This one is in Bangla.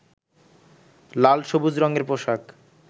লাল-সবুজ রঙের পোশাক